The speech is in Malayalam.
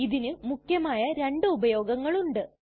ഇതിനു മുഖ്യമായ രണ്ടു ഉപയോഗങ്ങളുണ്ട്